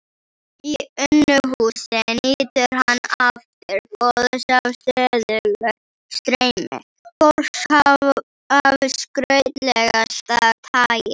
Í Unuhúsi nýtur hann aftur góðs af stöðugu streymi fólks af skrautlegasta tagi.